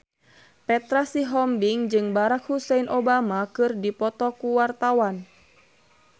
Petra Sihombing jeung Barack Hussein Obama keur dipoto ku wartawan